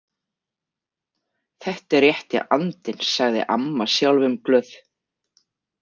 Þetta er rétti andinn, sagði amma sjálfumglöð.